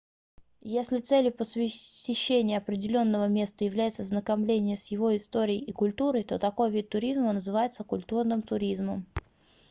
если целью посещения определённого места является ознакомление с его историей и культурой то такой вид туризма называется культурным туризмом